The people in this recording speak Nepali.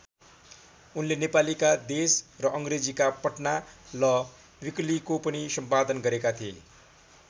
उनले नेपालीका देश र अङ्ग्रेजीका पटना ल वीकलीको पनि सम्पादन गरेका थिए।